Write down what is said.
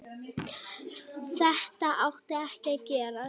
Þetta átti ekki að gerast.